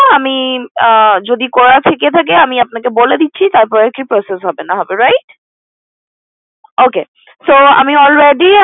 আমি যদি করা থেকে থাকে আমি আপনাকে বলে দিচ্ছি তারপরে কি process হবে না হবে right So আমি already